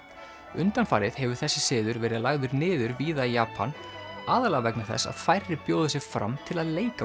undanfarið hefur þessi siður verið lagður niður víða í Japan aðallega vegna þess að færri bjóða sig fram til að leika